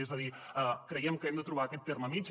és a dir creiem que hem de trobar aquest terme mitjà